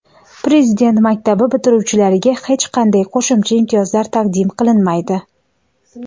Prezident maktabi bitiruvchilariga hech qanday qo‘shimcha imtiyozlar taqdim qilinmaydi.